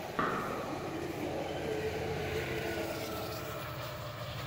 есть ли у тебя последний эпизод зэ бэст моментс